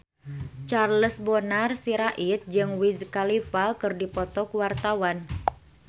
Charles Bonar Sirait jeung Wiz Khalifa keur dipoto ku wartawan